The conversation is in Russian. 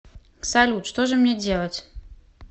салют что же мне делать